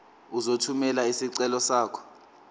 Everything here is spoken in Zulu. uzothumela isicelo sakho